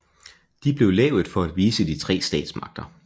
De blev lavet for at vise de tre statsmagter